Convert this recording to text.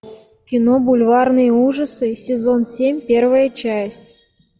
кино бульварные ужасы сезон семь первая часть